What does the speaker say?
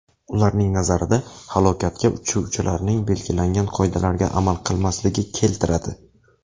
Ularning nazarida, halokatga uchuvchilarning belgilangan qoidalarga amal qilmasligi keltiradi.